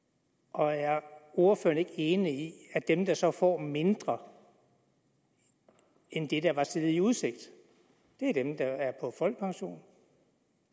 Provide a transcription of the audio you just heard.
og er ordføreren ikke enig i at dem der så får mindre end det der var stillet i udsigt er dem der er på folkepension